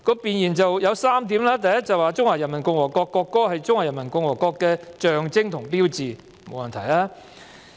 弁言有3點 ，"1 中華人民共和國國歌是中華人民共和國的象徵和標誌"，這沒有問題。